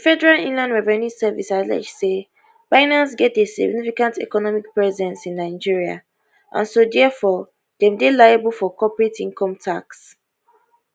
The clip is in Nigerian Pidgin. di federal inland revenue service allege say binance get a significant economic presence in nigeria and so diafor dem dey liable for corporate income tax